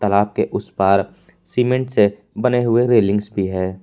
आपके उस पार सीमेंट से बने हुए रैलिंग्स भी है।